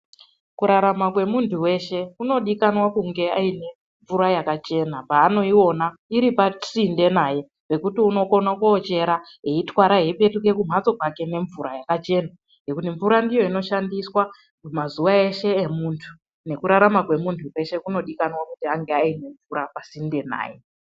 Kurarama kwemuntu veshe kunodikanwa kunge aine mvura yakachena panoiona iri pasinde naye pekuti unokona kochera eitwara eipetuka kumhatso kwake nemvura yakachena. Nekuti mvura ndiyo inoshandiswa mazuva eshe emuntu nekurarama kwemuntu kweshe kunodikanwa kunge aine mvura pasinde naye.